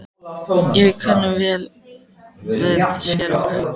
Ég kann vel við séra Hauk.